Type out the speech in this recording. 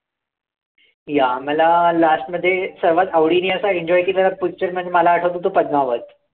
yeah मला last मध्ये समज आवडीने असा enjoy picture केलेला म्हणजे मला आठवतो तो पद्मावत